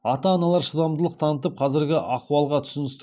ата аналар шыдамдылық танытып қазіргі ахуалға түсіністікпен